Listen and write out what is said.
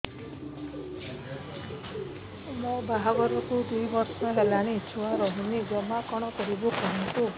ମୋ ବାହାଘରକୁ ଦୁଇ ବର୍ଷ ହେଲାଣି ଛୁଆ ରହୁନି ଜମା କଣ କରିବୁ କୁହନ୍ତୁ